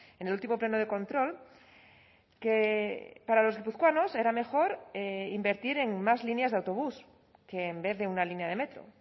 en el último pleno de control que para los guipuzcoanos era mejor invertir en más líneas de autobús que en vez de una línea de metro